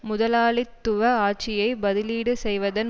முதலாளித்துவ ஆட்சியை பதிலீடு செய்வதன்